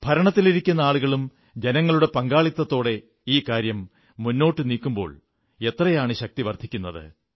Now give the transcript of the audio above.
ഭരണത്തിലിരിക്കുന്ന ആളുകളും ജനങ്ങളുടെ പങ്കാളിത്തത്തോടെ ഈ കാര്യം മുന്നോട്ടു നീക്കുമ്പോൾ എത്രയാണ് ശക്തി വർധിക്കുന്നത്